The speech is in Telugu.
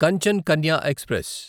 కంచన్ కన్య ఎక్స్ప్రెస్